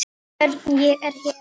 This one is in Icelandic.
Nú er Svenna skemmt.